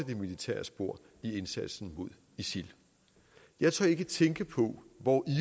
det militære spor i indsatsen mod isil jeg tør ikke tænke på hvor